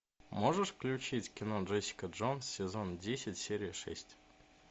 можешь включить кино джессика джонс сезон десять серия шесть